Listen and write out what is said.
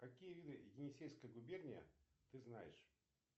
какие виды енисейская губерния ты знаешь